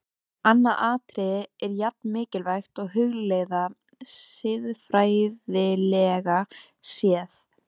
Annað atriði er jafn mikilvægt að hugleiða, siðfræðilega séð.